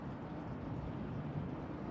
Yəni bütün yolların hamısı gəlir bura.